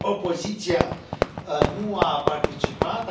opoziția nu a participat.